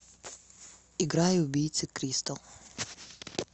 играй убийцы кристал